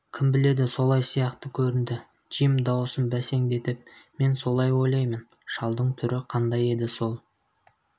кім біледі солай сияқты көрінді джим даусын бәсеңдетіп мен солай ойлаймын шалдың түрі қандай еді сол